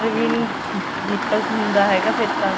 ਵੀ ਨੀ ਨਿਕਲ ਹੁੰਦਾ ਫੇਰ ਤਾਂ